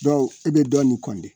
Dɔ o i be dɔn nin kɔnde